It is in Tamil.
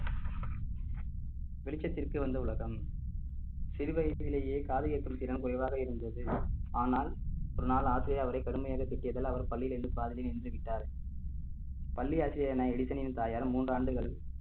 வெளிச்சத்திர்க்கு வந்த உலகம் சிறு வயதிலேயே காது கேட்கும் திறன் குறைவாக இருந்தது ஆனால் ஒரு நாள் ஆசிரியர் அவரை கடுமையாக திட்டியதால் அவர் பள்ளியில் நின்று பாதியில் நின்று விட்டார் பள்ளி ஆசிரியரான எடிசனின் தாயார் மூன்று ஆண்டுகள்